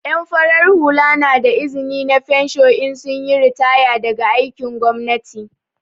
En farar hula na da izni na fensho in sun yi ritaya daga aikin gwamnati.